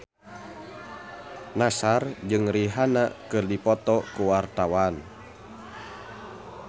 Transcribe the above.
Nassar jeung Rihanna keur dipoto ku wartawan